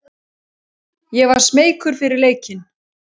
Ég var smeykur fyrir leikinn.